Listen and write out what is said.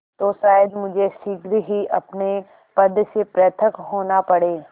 तो शायद मुझे शीघ्र ही अपने पद से पृथक होना पड़े